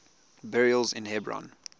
burials in hebron